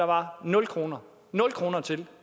var nul kroner nul kroner til